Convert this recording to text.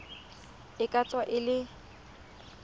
e ka tswa e le